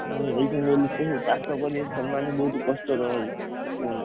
ଏଖିନା ଯଉ ଲୋକ ସବୁ ଚାଷ କରିବେ ସେମାନେ ବହୁତ କଷ୍ଟରେ ରହିବେ କୁହନା। ଏ